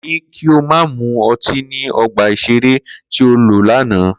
Ko ní kí o má mu ọtí ní ọgbà ìṣeré tí ò lọ lánàá!